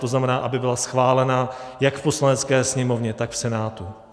To znamená, aby byla schválena jak v Poslanecké sněmovně, tak v Senátu.